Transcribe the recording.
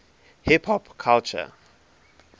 hip hop culture